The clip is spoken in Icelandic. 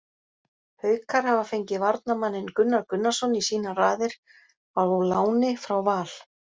Haukar hafa fengið varnarmanninn Gunnar Gunnarsson í sínar raðir á láni frá Val.